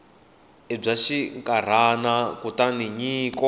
i bya xinkarhana kutani nyiko